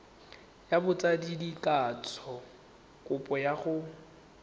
ya botsadikatsho kopo ya go